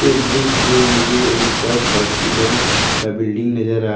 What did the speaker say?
इस दृश्य में मुझे एक पल्स हॉस्पिटल का बिल्डिंग नजर आ रहा--